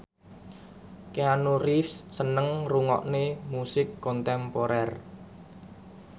Keanu Reeves seneng ngrungokne musik kontemporer